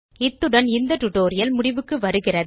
இத்துடன் இந்த டியூட்டோரியல் முடிவுக்கு வருகிறது